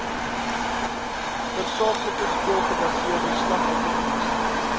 tersaaklike skoolgebaseerde slagofferdienste